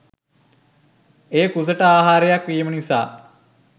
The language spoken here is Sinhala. එය කුසට ආහාරයක් වීම නිසා